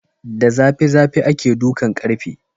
Da zafi zafi ake dukan ƙarfe